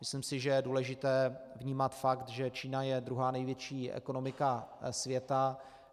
Myslím si, že je důležité vnímat fakt, že Čína je druhá největší ekonomika světa.